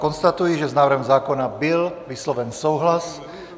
Konstatuji, že s návrhem zákona byl vysloven souhlas.